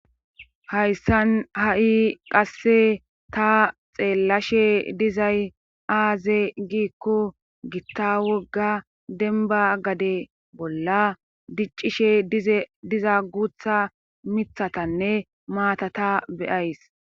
hayssan ha7i qasse ta xeellashe dizay aaze giikko gitta wogga denba gade bolla diccishe diza guutha mithatanne maatata beyays.